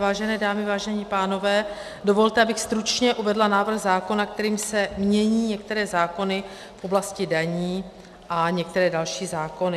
Vážené dámy, vážení pánové, dovolte, abych stručně uvedla návrh zákona, kterým se mění některé zákony v oblasti daní a některé další zákony.